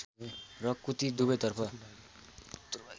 र कुती दुबैतर्फ